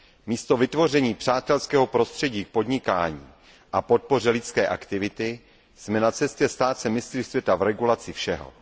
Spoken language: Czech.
Místo vytvoření přátelského prostředí k podnikání a podpoře lidské aktivity jsme na cestě stát se mistry světa v regulaci všeho.